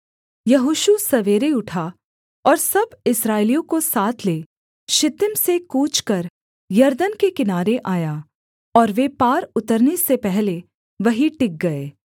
यहोशू सवेरे उठा और सब इस्राएलियों को साथ ले शित्तीम से कूच कर यरदन के किनारे आया और वे पार उतरने से पहले वहीं टिक गए